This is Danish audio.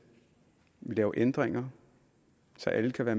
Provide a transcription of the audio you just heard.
vi lavede ændringer så alle der var